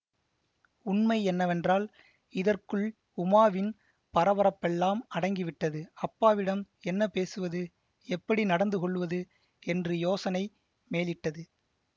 உண்மை என்னவென்றால் இதற்குள் உமாவின் பரபரப்பெல்லாம் அடங்கிவிட்டது அப்பாவிடம் என்ன பேசுவது எப்படி நடந்துகொள்வது என்று யோசனை மேலிட்டது